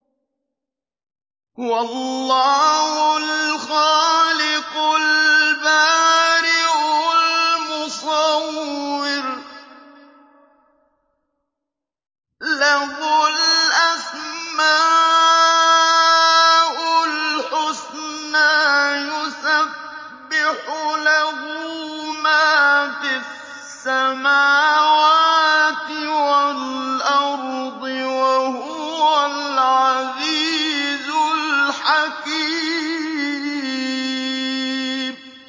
هُوَ اللَّهُ الْخَالِقُ الْبَارِئُ الْمُصَوِّرُ ۖ لَهُ الْأَسْمَاءُ الْحُسْنَىٰ ۚ يُسَبِّحُ لَهُ مَا فِي السَّمَاوَاتِ وَالْأَرْضِ ۖ وَهُوَ الْعَزِيزُ الْحَكِيمُ